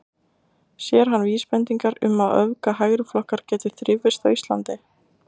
Sér hann vísbendingar um að öfga hægriflokkar geti þrifist á Íslandi?